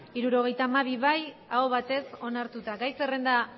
hirurogeita hamabi bai aho batez onartuta gai zerrenda